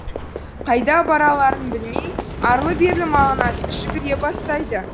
қайда барарларын білмей арлы берлі мағынасыз жүгіре бастайды